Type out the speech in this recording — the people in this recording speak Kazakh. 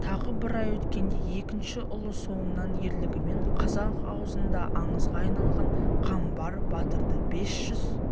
тағы бір ай өткенде екінші ұлы соңынан ерлігімен қазақ аузында аңызға айналған қамбар батырды бес жүз